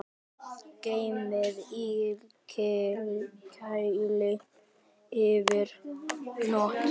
Geymið í kæli yfir nótt.